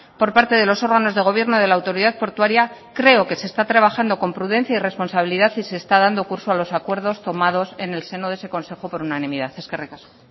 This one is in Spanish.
por parte de los órganos de gobierno de la autoridad portuaria creo que se está trabajando con prudencia y responsabilidad y se está dando curso a los acuerdos tomados en el seno de ese consejo por unanimidad eskerrik asko